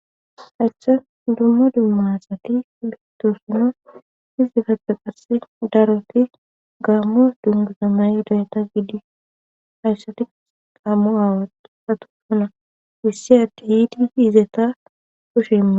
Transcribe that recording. hashcha dummo dummasati mistoosino izifappe qarse daroti gaammoa dunguzamay udayata gidi hayssati ammu aawa satosuna wissi atti hiidi izeta kushemma